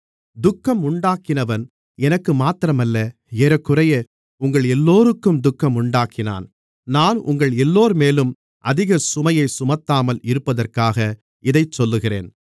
துக்கம் உண்டாக்கினவன் எனக்கு மாத்திரமல்ல ஏறக்குறைய உங்களெல்லோருக்கும் துக்கம் உண்டாக்கினான் நான் உங்கள் எல்லோர்மேலும் அதிக சுமையைச் சுமத்தாமல் இருப்பதற்காக இதைச் சொல்லுகிறேன்